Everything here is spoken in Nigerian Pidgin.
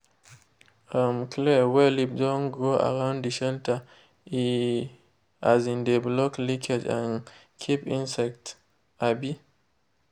um clear wey leaf don grow around de shelter _ e um de block leakage and keep insects. um